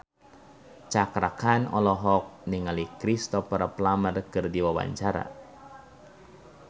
Cakra Khan olohok ningali Cristhoper Plumer keur diwawancara